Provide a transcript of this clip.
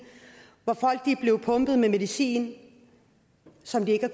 hvor folk er blevet pumpet med medicin som de ikke har